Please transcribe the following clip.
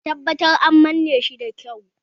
Ka tabbatar an manne shi da kyau!